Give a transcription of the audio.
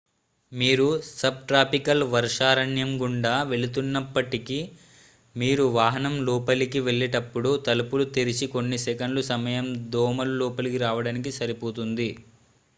మీరు సబ్ట్రాపికల్ వర్షారణ్యం గుండా వెళుతున్నప్పటికీ మీరు వాహనం లోపలికి వెళ్లేటప్పుడు తలుపులు తెరిచిన కొన్ని సెకన్లు సమయం దోమలు లోపలికి రావడానికి సరిపోతుంది